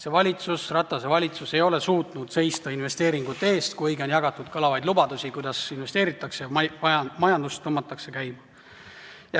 See valitsus, Ratase valitsus, ei ole suutnud seista investeeringute eest, kuigi on jagatud kõlavaid lubadusi, kuidas investeeritakse, majandust tõmmatakse käima.